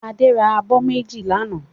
Adé ra abọ́ méjì lánàá.